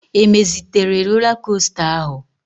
E mezitere rola kosta áhụ̀?